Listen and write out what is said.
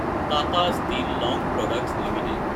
Tata Steel Long Products Ltd